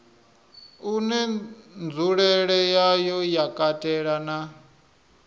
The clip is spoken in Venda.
une nzulele yawo ya katela